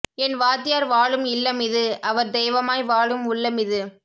என் வாத்தியார் வாழும் இல்லமிது அவர் தெய்வமாய் வாழும் உள்ளமிது